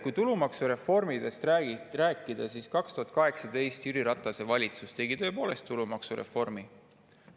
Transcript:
Kui tulumaksureformidest rääkida, siis 2018. aastal tegi Jüri Ratase valitsus tõepoolest tulumaksureformi.